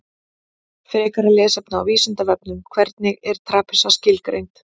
Frekara lesefni á Vísindavefnum: Hvernig er trapisa skilgreind?